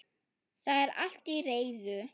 Það er allt til reiðu.